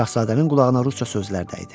Şahzadənin qulağına ruscə sözlər dəydi.